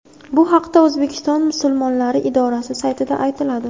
Bu haqda O‘zbekiston Musulmonlari idorasi saytida aytiladi.